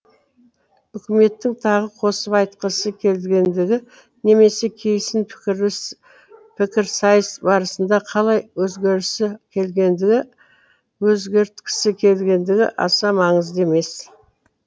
үкіметтің тағы қосып айтқысы келгендігі немесе кейсін пікірсайыс барысында қалай өзгерткісі келгендігі аса маңызды емес